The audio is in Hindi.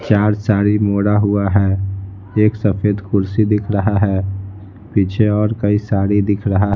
चार साड़ी मोड़ा हुआ है एक सफेद कुर्सी दिख रहा है पीछे और कई साड़ी दिख रहा है।